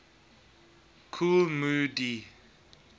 kool moe dee